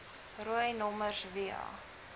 rooi nommers via